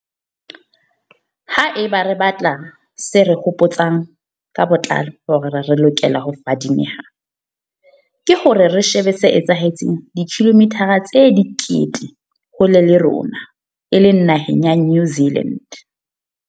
Haeba re batla se re hopo tsang ka botlalo hore re lokele ho fadimeha, ke hore re shebe se etsahetseng dikilomithara tse dikete hole le rona e leng naheng ya New Zealand.